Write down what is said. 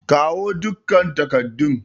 Kawo dukkan takardun!